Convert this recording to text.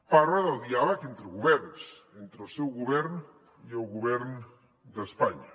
parla del diàleg entre governs entre el seu govern i el govern d’espanya